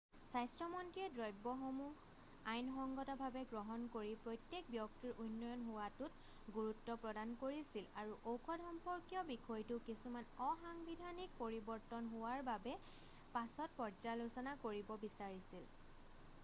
স্বাস্থ্য মন্ত্ৰীয়ে দ্ৰব্যসমূহ আইনসঙ্গত ভাৱে গ্ৰহণ কৰি প্ৰত্যেক ব্যক্তিৰ উন্নয়ন হোৱাটোত গুৰুত্ব প্ৰদান কৰিছিল আৰু ঔষধ-সম্পৰ্কীয় বিষয়টো কিছুমান অসাংবিধানিক পৰিবৰ্তন হোৱাৰ বাবে পাছত পৰ্যালোচনা কৰিব বিচাৰিছিল